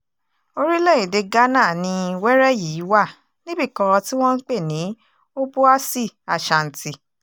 orílẹ̀-èdè ghana ni wẹ́rẹ́ yìí wà níbì kan tí wọ́n ń pè ní obúàsì ashanti